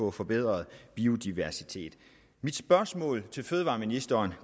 at forbedre biodiversiteten mit spørgsmål til fødevareministeren